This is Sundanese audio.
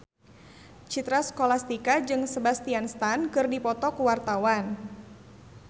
Citra Scholastika jeung Sebastian Stan keur dipoto ku wartawan